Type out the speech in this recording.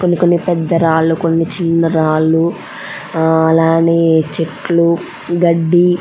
కొన్ని కొన్ని పెద్ద రాళ్లు కొన్ని చిన్న రాళ్లు అలానే చెట్లు గడ్డి --